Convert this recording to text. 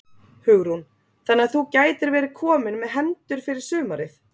Hugrún: Þannig að þú gætir verið kominn með hendur fyrir sumarið?